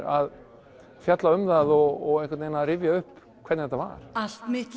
að fjalla um það og rifja upp hvernig þetta var allt mitt